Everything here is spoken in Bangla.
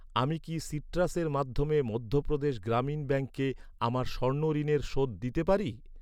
আমি কি সিট্রাসের মাধ্যমে মধ্যপ্রদেশ গ্রামীণ ব্যাঙ্কে আমার স্বর্ণ ঋণের শোধ দিতে পারি?